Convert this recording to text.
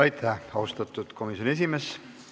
Aitäh, austatud komisjoni esimees!